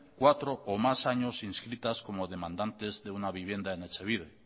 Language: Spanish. cuatro o más años inscritas como demandantes de una vivienda en etxebide